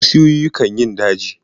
Busioyi kan yin daji.